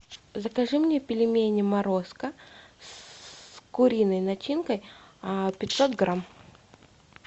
закажи мне пельмени морозко с куриной начинкой пятьсот грамм